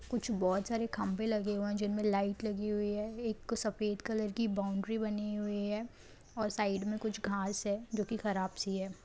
कुछ बहुत सारे खंभे लगे हुए हैं जिनमें लाइट लगी हुई है एक सफेद कलर की बाउंड्री बनी हुई है और साइड में कुछ घास है जो की खराब सी है।